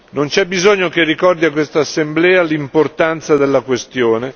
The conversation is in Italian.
Non c'è bisogno che ricordi a quest'Assemblea l'importanza della questione.